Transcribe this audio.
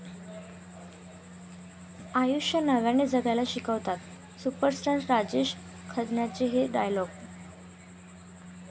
आयुष्य नव्याने जगायला शिकवतात सुपरस्टार राजेश खन्नाचे 'हे' डायलॉग